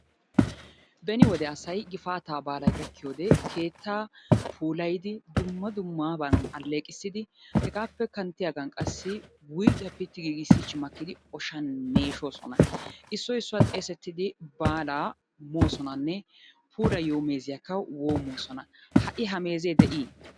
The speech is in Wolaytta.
Beni wode asay gifaata baalay gaakiyoode keettaa puulayidi, dumma dummaban alleeqqisside, hegappe kanttiyaagan qassi wuyggiya pitti giigissichidi oshshan meeshshoona. Issoy issuwaa xeessidi baala moosonanne puulayiyo meeziyakka woommosona, ha'i ha meeze dii?